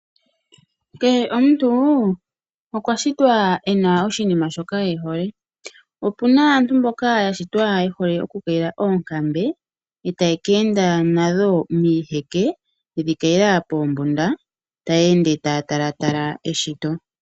Kehe omuntu okwa shitwa e na oshinima shoka e hole. Opu na aantu mboka ya shitwa ye hole okukayila oonkambe, e taya ka enda nadho miiheke ye dhi kayila poombunda, taya ende taya talatala eshito.